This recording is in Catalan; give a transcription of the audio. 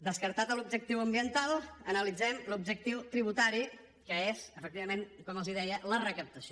descartat l’objectiu ambiental analitzem l’objectiu tributari que és efectivament com els deia la recaptació